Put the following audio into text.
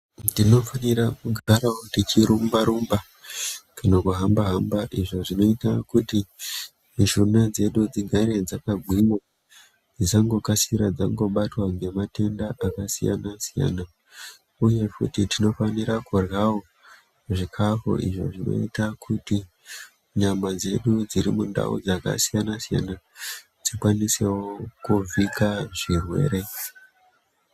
Tinofanira kugarawo techirumba rumba kana kuhamba hamba. Izvo zvinoita kuti mishuna dzedu dzigare dzakagwinya, dzisangokasikira dzangobatwa ngematenda akasiyana siyana. Uye futi tinofanira kudyra wo zvikafu izvo zvinoita kuti nyama dzedu dziri mundau dzakasiyana siyana dzikwanisewo kuvhika zvirwere.